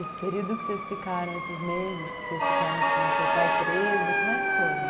Esse período que vocês ficaram, esses meses que vocês ficaram com o seu pai preso, como é que foram?